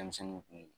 Denmisɛnninw kun